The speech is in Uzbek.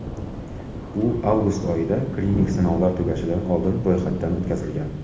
U avgust oyida klinik sinovlar tugashidan oldin ro‘yxatdan o‘tkazilgan .